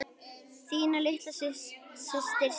Þín litla systir Sigga.